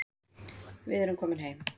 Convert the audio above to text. Við erum komin heim